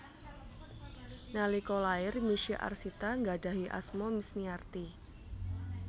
Nalika lair Misye Arsita nggadhahi asma Misniarti